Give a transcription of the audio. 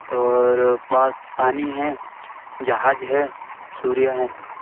और पास पानी है जहाज है सूर्या हैं।